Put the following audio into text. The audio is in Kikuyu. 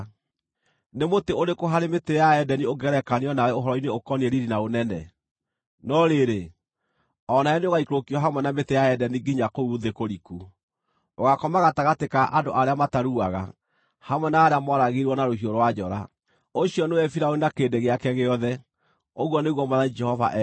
“ ‘Nĩ mũtĩ ũrĩkũ harĩ mĩtĩ ya Edeni ũngĩgerekanio nawe ũhoro-inĩ ũkoniĩ riiri na ũnene? No rĩrĩ, o nawe nĩũgaikũrũkio hamwe na mĩtĩ ya Edeni nginya kũu thĩ kũriku; ũgaakoma gatagatĩ ka andũ arĩa mataruaga, hamwe na arĩa mooragirwo na rũhiũ rwa njora. “ ‘Ũcio nĩwe Firaũni na kĩrĩndĩ gĩake gĩothe, ũguo nĩguo Mwathani Jehova ekuuga.’ ”